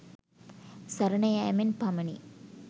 සරණ යැමෙන් පමණි.